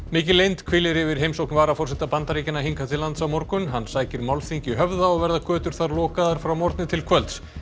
mikil leynd hvílir yfir heimsókn varaforseta Bandaríkjanna hingað til lands á morgun hann sækir málþing í Höfða og verða götur þar lokaðar frá morgni til kvölds